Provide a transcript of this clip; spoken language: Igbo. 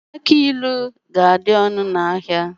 Agbailu ga-adị ọnụ n'ahia.